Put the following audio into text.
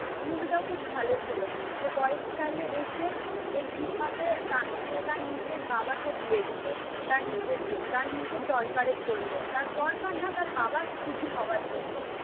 ওই মুভিটাও খুব ভালো ছিল. যে বয়স কালে এসে যে কিভাবে তার সে তার নিজের বাবাকে বিয়ে দিল. তার নিজের জন্য. তার নিজের দরকারের জন্যে. তার দরকার না তার বাবার সুখী হওয়ার জন্যে